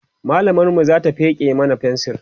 mallamar mu Zata feke mana fensir